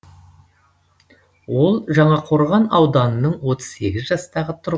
ол жаңақорған ауданының отыз сегіз жастағы тұрғыны